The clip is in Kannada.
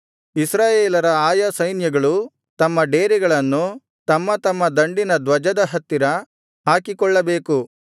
ಇಸ್ರಾಯೇಲರ ಆಯಾ ಸೈನ್ಯಗಳು ತಮ್ಮ ಡೇರೆಗಳನ್ನು ತಮ್ಮತಮ್ಮ ದಂಡಿನ ಧ್ವಜದ ಹತ್ತಿರ ಹಾಕಿಕೊಳ್ಳಬೇಕು